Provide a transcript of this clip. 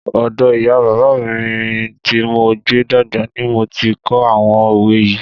Ọ̀dọ̀ ìyá bàbá mi tí mo gbé dàgbà ni mo ti kọ́ àwọn òwe yii